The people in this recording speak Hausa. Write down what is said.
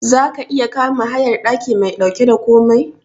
Zaka iya kama hayar daki mai dauke da komai?